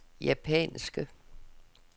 japanske